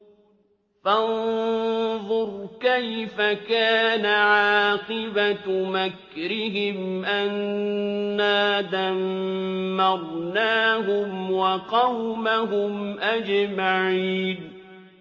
فَانظُرْ كَيْفَ كَانَ عَاقِبَةُ مَكْرِهِمْ أَنَّا دَمَّرْنَاهُمْ وَقَوْمَهُمْ أَجْمَعِينَ